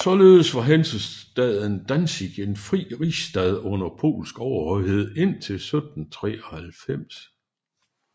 Således var hansestaden Danzig en fri rigsstad under polsk overhøjhed indtil 1793